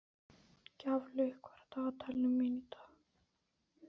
Gjaflaug, hvað er á dagatalinu mínu í dag?